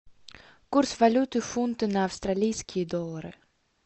курс валюты фунты на австралийские доллары